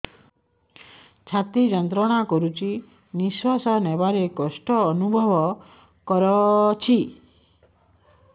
ଛାତି ଯନ୍ତ୍ରଣା କରୁଛି ନିଶ୍ୱାସ ନେବାରେ କଷ୍ଟ ଅନୁଭବ କରୁଛି